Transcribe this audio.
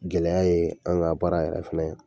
Gɛlɛya ye, an ga baara yɛrɛ fɛnɛ